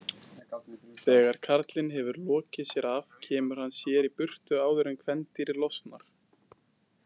Þegar karlinn hefur lokið sér af kemur hann sér í burtu áður en kvendýrið losnar.